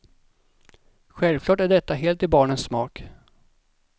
Självklart är detta helt i barnens smak.